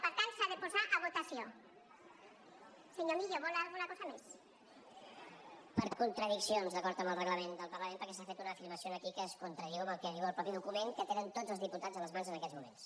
per contradiccions d’acord amb el reglament del parlament perquè s’ha fet una afirmació aquí que es contradiu amb el que diu el mateix document que tenen tots els diputats a les mans en aquests moments